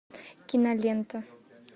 кинолента